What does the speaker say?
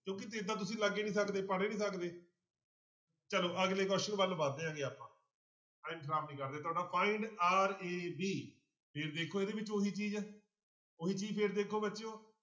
ਕਿਉਂਕਿ ਏਦਾਂ ਤੁਸੀਂ ਲੱਗ ਹੀ ਸਕਦੇ ਪੜ੍ਹ ਹੀ ਨੀ ਸਕਦੇ ਚਲੋ ਅਗਲੇ question ਵੱਲ ਵੱਧਦੇ ਹੈਗੇ ਆਪਾਂ time ਖਰਾਬ ਨੀ ਕਰ ਰਹੇ ਤੁਹਾਡਾ find r, a, v ਫਿਰ ਦੇਖੋ ਇਹਦੇ ਵਿੱਚ ਉਹੀ ਚੀਜ਼ ਹੈ ਉਹੀ ਚੀਜ਼ ਫਿਰ ਦੇਖੋ ਬੱਚਿਓ